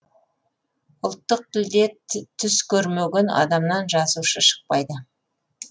ұлттық тілде түс көрмеген адамнан жазушы шықпайды